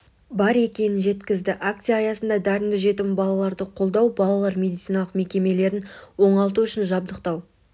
бар екенін жеткізді акция аясында дарынды жетім балаларды қолдау балалар медициналық мекемелерін оңалту үшін жабдықтау